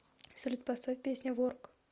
салют поставь песня ворк